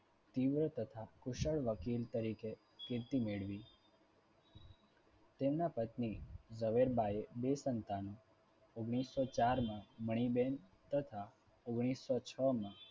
તીવ્ર તથા કુશળ વકીલ તરીકે કીર્તિ મેળવી. તેમના પત્ની ઝવેરબાએ બે સંતાનો ઓગણીસો ચાર માં મણીબેન તથા ઓગણીસો છ માં